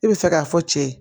E bɛ fɛ k'a fɔ cɛ ye